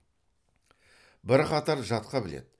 бірқатар жатқа біледі